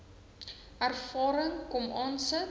ervaring kom aansit